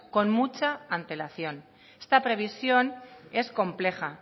con mucha antelación esta previsión es compleja